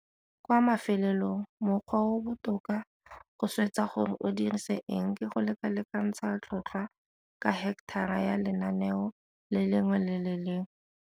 Kwa mafelelong, mokgwa o o botoka go swetsa gore o dirise eng ke go lekalekantsha tlhotlhwa ka heketara ya lenaneo le lengwe le le lengwe.